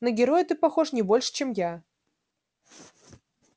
на героя ты похож не больше чем я